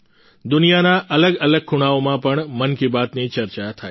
દુનિયાના અલગ અલગ ખૂણાઓમાં પણ મન કી બાત ની ચર્ચા થાય છે